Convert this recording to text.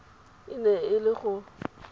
e ne e le go